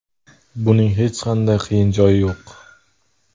Buning hech qanday qiyin joyi yo‘q.